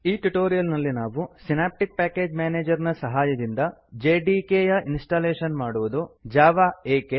ಈ ಟ್ಯುಟೋರಿಯಲ್ ನಲ್ಲಿ ನಾವು ಸಿನಾಪ್ಟಿಕ್ ಪ್ಯಾಕೇಜ್ ಮ್ಯಾನೇಜರ್ ನ ಸಹಾಯದಿಂದ ಜೆಡಿಕೆ ಯ ಇನ್ಸ್ಟಾಲೇಶನ್ ಮಾಡುವುದು ಜಾವಾ ಏಕೆ